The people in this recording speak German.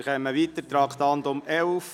Wir kommen zum Traktandum 11: